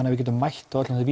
að við getum mætt öllum þeim